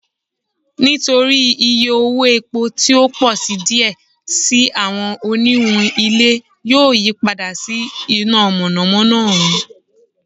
Nitori iye owo epo ti o pọ si diẹ sii awọn oniwun ile yoo yipada si ina mọnamọna oorun